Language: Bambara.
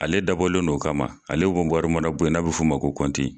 Ale dabɔlen do o kama ale wari mara bon ye n'a bɛ f'o ma ko kɔnti.